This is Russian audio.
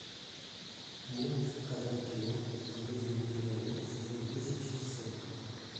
можешь показать кино пожизненный приговор сезон десять часть сорок